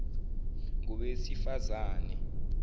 ngowesifazane